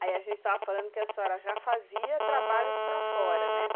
Aí a gente estava falando que a senhora já fazia trabalhos para fora, né?